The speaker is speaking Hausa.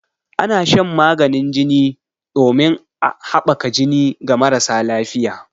Ana shan maganin jini ɗomin haɓaka jini ga marasa lafiƴa.